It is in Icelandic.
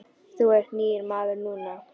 Þú ert nýr maður núna.